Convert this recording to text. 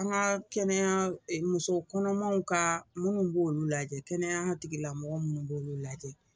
An ka kɛnɛya muso kɔnɔmanw ka minnu b'olu lajɛ kɛnɛya tigilamɔgɔw minnu b'olu lajɛ